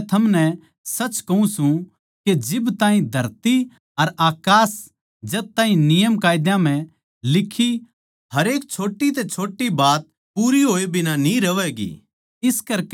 क्यूँके मै थमनै सच कहूँ सूं के जब ताहीं धरती अर अकास सै जद ताहीं नियमकायदा म्ह लिखी हरेक छोट्टी तै छोट्टी बात पूरी होए बिना न्ही रहवैगी